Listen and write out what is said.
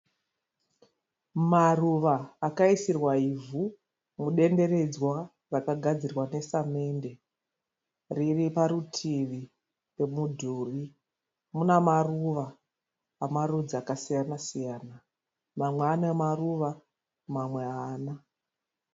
Maruva akaisirwa ivhu mudenderedzwa rakagadzirwa nesamende. Ririparutivi pomidhuri. Muna maruva emarudzi akasiyana siyana. Mamwe anemaruva mamwe haana.